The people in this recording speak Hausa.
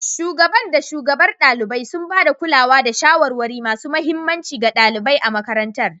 Shugaban da shugabar ɗalibai, sun ba da kulawa da shawarwari masu mahimmanci ga ɗalibai a makarantar.